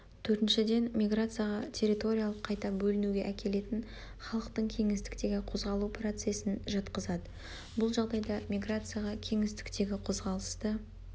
төртіншіден миграцияға территориялық қайта бөлінуге әкелетін халықтың кеңістіктегі қозғалу процесін жатқызады бұл жағдайда миграцияға кеңістіктегі қозғалысты